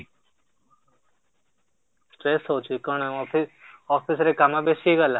stress କଣ ଅଛି କଣ ଅଫିସ କଣ ଅଫିସ୍ ରେ କାମ ବେଶୀ ହେଇଗଲା?